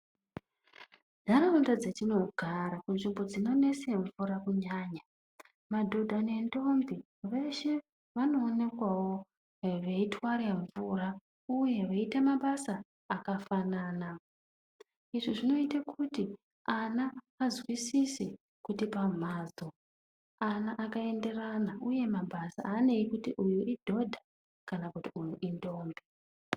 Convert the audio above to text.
Ntaraunda dzetinogara munzvimbo dzinonese mvura kunyanya. madhodha nendombi veshe vanoonekwavo veitware mvura, uye veiita mabasa akafanana. Izvi zvinoite kuti ana azwisise kuti pamhatso ana akaenderana, uye mabasa haanei kuti uyu idhodha kana kuti uyu indombi.